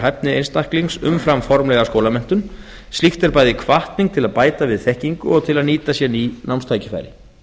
hæfni einstaklings umfram formlega skólamenntun slíkt er bæði hvatning til að bæta við þekkingu og til að nýta sér ný námstækifæri